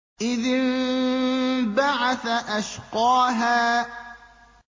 إِذِ انبَعَثَ أَشْقَاهَا